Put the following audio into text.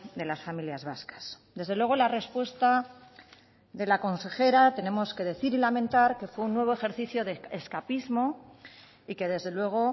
de las familias vascas desde luego la respuesta de la consejera tenemos que decir y lamentar que fue un nuevo ejercicio de escapismo y que desde luego